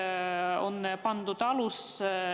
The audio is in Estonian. Koos sellega on kolmapäevane täiskogu istung lõppenud.